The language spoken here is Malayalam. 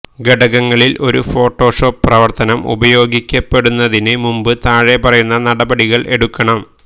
ഘടകങ്ങളിൽ ഒരു ഫോട്ടോഷോപ്പ് പ്രവർത്തനം ഉപയോഗിക്കപ്പെടുന്നതിന് മുമ്പ് താഴെപ്പറയുന്ന നടപടികൾ എടുക്കണം